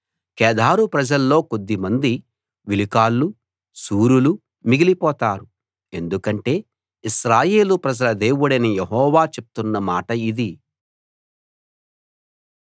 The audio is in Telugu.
కేదారు ప్రజల్లో కొద్దిమంది విలుకాళ్ళూ శూరులూ మిగిలిపోతారు ఎందుకంటే ఇశ్రాయేలు ప్రజల దేవుడైన యెహోవా చెప్తున్న మాట ఇది